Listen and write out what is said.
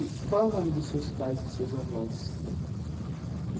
E qual é o nome dos seus pais e dos seus avós?